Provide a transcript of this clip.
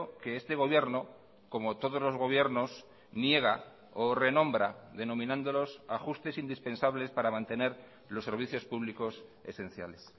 que este gobierno como todos los gobiernos niega o renombra denominándolos ajustes indispensables para mantener los servicios públicos esenciales